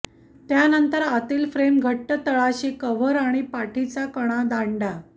त्यानंतर आतील फ्रेम घट्ट तळाशी कव्हर आणि पाठीचा कणा दांडा